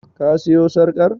Ka siyo sarƙar?